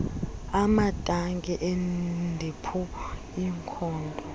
amatanki ediphu iikhonto